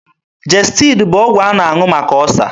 Jestid bụ ọgwụ a na-aṅụ maka ọsa.